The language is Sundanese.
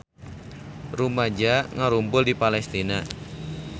Rumaja ngarumpul di Palestina